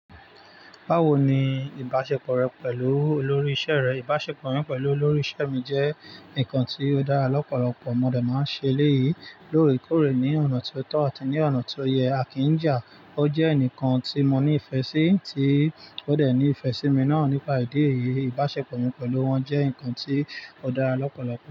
Báwo ni ìbáṣepọ̀ rẹ pẹ̀lú olórí iṣẹ́ rẹ? Ìbáṣepọ̀ mi pẹ̀lú olórí iṣẹ́ mi jẹ́ ǹnkan tí ó dára lọ́pọ̀lọpọ̀. Mo dẹ̀ máa ń ṣe eléyí lóòrèkóòrè ní ọ̀nà tí ó tọ́ àti ní ọ̀nà tó yẹ à kíń ja. Ó jẹ́ ẹnìkan tí mo ní ìfẹ́ sí, tí ó dẹ̀ ní ìfẹ́ sí mi náà nípa ìdí èyí. Ìbáṣepọ̀ mi pẹ̀lú wọn jẹ́ ǹkan tí ó dára lọ́pọ̀lọpọ̀.